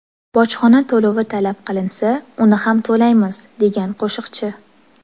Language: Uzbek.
Bojxona to‘lovi talab qilinsa, uni ham to‘laymiz”, degan qo‘shiqchi.